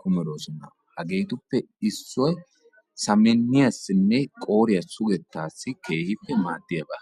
kumidosona, hageetuppe issoy samminiyaasine qooriya sugettaasi maadiyaba.